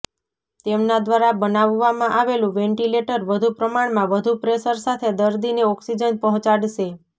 તેમના દ્વારા બનાવવામાં આવેલુ વેંટિલેટર વધુ પ્રમાણમાં વધુ પ્રેશર સાથે દર્દીને ઓક્સિજન પહોંચાડશે